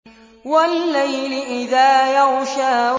وَاللَّيْلِ إِذَا يَغْشَىٰ